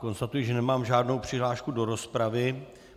Konstatuji, že nemám žádnou přihlášku do rozpravy.